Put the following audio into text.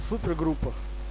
супергруппах